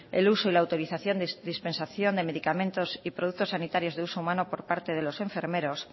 el uso y la autorización de dispensación de medicamentos y productos sanitarios de uso humano por parte de los enfermeros